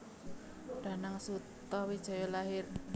Danang Sutawijaya lahir